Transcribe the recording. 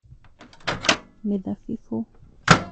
Mĩthabibũ